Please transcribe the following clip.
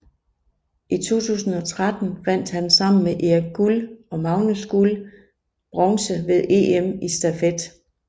I 2013 vandt han sammen med Erik Guld og Magnus Guld bronze ved EM i stafet